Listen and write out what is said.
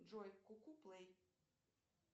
джой ку ку плей